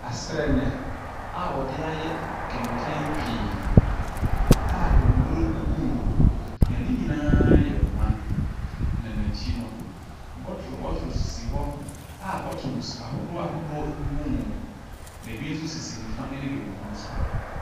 Asrɛnnɛ a wɔde ayɛ kɛnkɛn pii a nnuro gugu mu. Na ne nyinaa ayɛ ma. Na n'akyi no. bɔtoro bɔtoro sisi hɔ a bottles ahodoɔ ahodɔo gugu mu, na ɛbi nso sisi nifa ne benkum so.